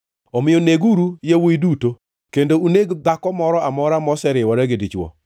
Omiyo neguru yawuowi duto. Kendo uneg dhako moro amora moseriwore gi dichwo,